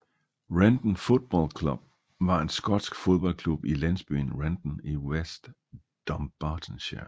Renton Football Club var en skotsk fodboldklub i landsbyen Renton i West Dumbartonshire